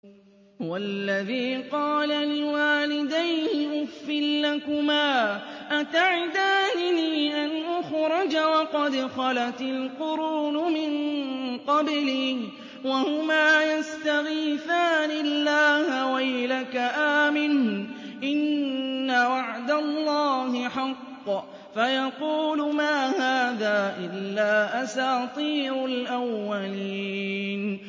وَالَّذِي قَالَ لِوَالِدَيْهِ أُفٍّ لَّكُمَا أَتَعِدَانِنِي أَنْ أُخْرَجَ وَقَدْ خَلَتِ الْقُرُونُ مِن قَبْلِي وَهُمَا يَسْتَغِيثَانِ اللَّهَ وَيْلَكَ آمِنْ إِنَّ وَعْدَ اللَّهِ حَقٌّ فَيَقُولُ مَا هَٰذَا إِلَّا أَسَاطِيرُ الْأَوَّلِينَ